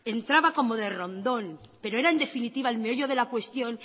entraba como de rondón pero era en definitiva el meollo de la cuestión